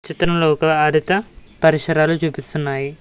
చిత్రంలో ఒక ఆదిత పరిశరాలు చూపిస్తున్నాయి.